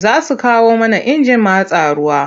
Za su kawo mana injin matsa ruwa.